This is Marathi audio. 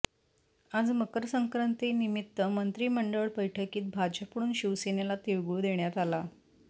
आज मकर संक्रांतीनिमित्त मंत्रीमंडळ बैठकीत भाजपकडून शिवसेनेला तिळगूळ देण्यात आला